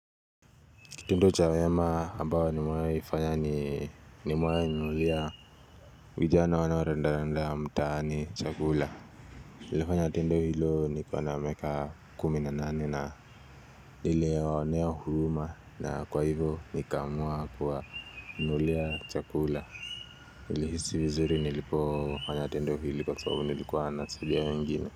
Kitendo cha wema ambao nimewahi fanya ni nimewahi nunulia vijana wanaorandaranda mtaani chakula nilifanya tendo hilo nikiwa na miaka kumi na nane na niliwaonea huruma na kwa hivo nikaamua kuwanunulia chakula nilihisi vizuri nilipofanya tendo hili kwa sababu nilikuwa nasaidia wengine.